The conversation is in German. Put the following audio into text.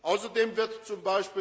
Außerdem wird